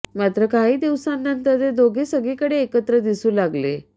मात्र काही दिवसांनंतर ते दोघे सगळीकडे एकत्र दिसू लागले